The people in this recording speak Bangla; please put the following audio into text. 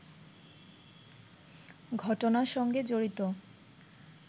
ঘটনার সঙ্গে জড়িত